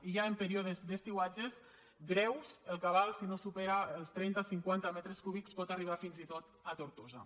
i ja en períodes d’estiuatges greus el cabal si no supera els trenta cinquanta metres cúbics pot arribar fins i tot a tortosa